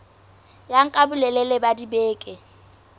ya nka bolelele ba dibeke